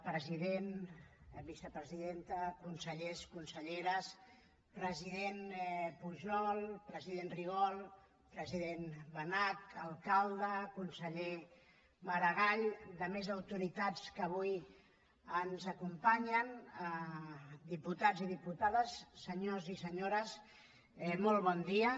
president vicepresidenta consellers conselleres president pujol president rigol president benach alcalde conseller maragall altres autoritats que avui ens acompanyen diputats i diputades senyors i senyores molt bon dia